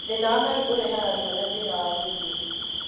Thĩna wa maru ũrehage ruo na thĩna wa gũthie.